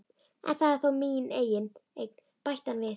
En það er þó mín eign, bætti hann við.